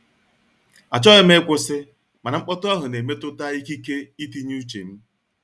Achọghị m ịkwụsị, mana mkpọtụ ahụ na-emetụta ikike itinye uche m.